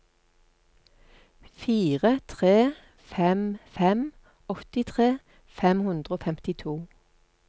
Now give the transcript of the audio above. fire tre fem fem åttitre fem hundre og femtito